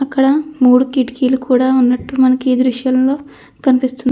అక్కడ మూడు కిటికీలు కూడా ఉన్నట్టు మనకి ఈ దృశ్యాల్లో కనిపిస్తుంది.